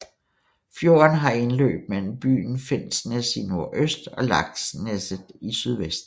Fjorden har indløb mellem byen Finnsnes i nordøst og Laksneset i sydvest